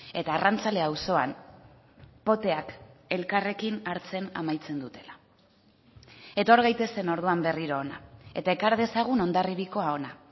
eta arrantzale auzoan poteak elkarrekin hartzen amaitzen dutela etor gaitezen orduan berriro hona eta ekar dezagun hondarribiakoa hona